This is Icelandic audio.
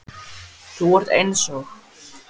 Þú ert eins og